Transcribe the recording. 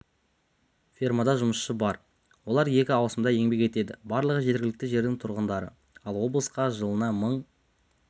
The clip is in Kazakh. фермада жұмысшы бар олар екі ауысымда еңбек етеді барлығы жергілікті жердің тұрғындары ал облысқа жылына мың